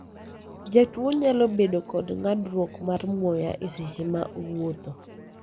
jatuo nyalo bedo kod ng'adruok mar muya e seche ma owuotho